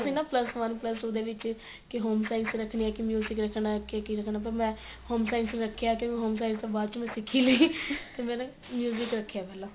ਸੀ ਨਾ plus one plus two ਦੇ ਵਿੱਚ ਕੀ home science ਰੱਖਣੀ ਕੇ ਰੱਖਣਾ ਕੇ ਕੀ ਰੱਖਣਾ ਪਰ ਮੈਂ home science ਰੱਖਿਆ ਤੇ home science ਤਾਂ ਬਾਅਦ ਚ ਮੈਂ ਸਿਖ ਹੀ ਲਈ ਤੇ ਮੈਂ ਨਾ ਰੱਖਿਆ ਸੀਗਾ